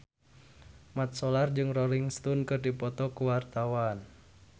Mat Solar jeung Rolling Stone keur dipoto ku wartawan